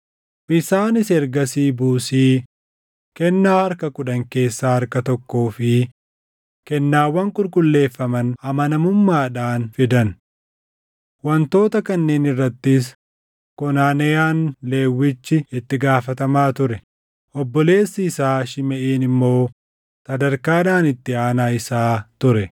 Isaanis ergasii buusii, kennaa harka kudhan keessaa harka tokkoo fi kennaawwan qulqulleeffaman amanamummaadhaan fidan. Wantoota kanneen irrattis Konaneyaan Lewwichi itti gaafatamaa ture; obboleessi isaa Shimeʼiin immoo sadarkaadhaan itti aanaa isaa ture.